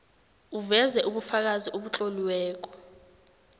uveze ubufakazi obutloliweko